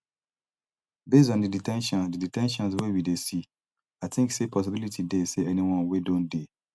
based on di de ten tions di de ten tions wey we dey see i think say possibility dey say anyone wey don dey